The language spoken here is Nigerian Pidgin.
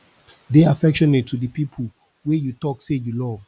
de affectionate to di people wey you talk sey you love